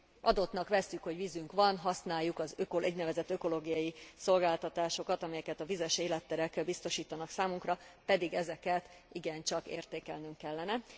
Adottnak vesszük, hogy vizünk van, használjuk az úgynevezett ökológiai szolgáltatásokat, amelyeket a vizes életterek biztosítanak számunkra, pedig ezeket igencsak értékelnünk kellene.